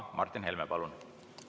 Martin Helme, palun!